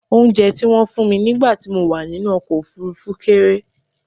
Oúnjẹ tí wọ́n fún mi nígbà tí mo wà nínú ọkọ̀ òfurufú kéré